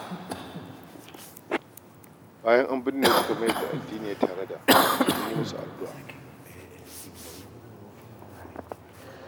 Bayan an binne su kamar yadda addini ya tanada, an yi musu addu'a.